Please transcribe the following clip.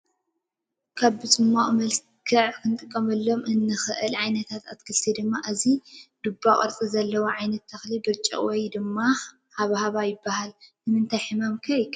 ካብ ብፀማቅ መልክዕ ንክንጥቀመሎም ካብ እንክእል ዓይነታት ኣትክልቲ ድማ እዚ ይ ድባ ቅርፂ ዘለዎ ዓይነታት ትክሊ ብርጭቅ ወይ ድማ ሃባሃባ ይበሃል። ንምታይ ሕማም ከ ይከላከል ?